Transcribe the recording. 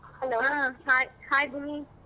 Hai hai ಭೂಮಿ.